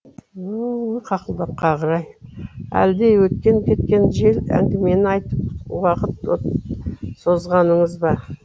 өөй қақылдап қалғыр ай әлде өткен кеткен жел әңгімені айтып уақыт созғаныңыз ба